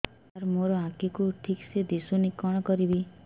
ସାର ମୋର ଆଖି କୁ ଠିକସେ ଦିଶୁନି କଣ କରିବି